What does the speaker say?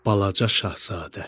Balaca Şahzadə.